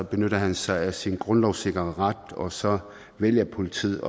benytter han sig af sin grundlovssikrede ret og så vælger politiet